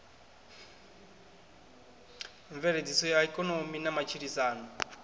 mveledziso ya ikonomi na matshilisano